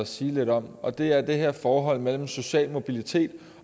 sige lidt om og det er det her forhold mellem social mobilitet